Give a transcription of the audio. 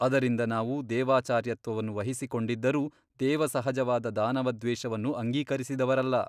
ಅದರಿಂದ ನಾವು ದೇವಾಚಾರ್ಯತ್ವವನ್ನು ವಹಿಸಿಕೊಂಡಿದ್ದರೂ ದೇವಸಹಜವಾದ ದಾನವದ್ವೇಷವನ್ನು ಅಂಗೀಕರಿಸಿದವರಲ್ಲ.